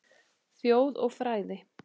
Þjóð og fræði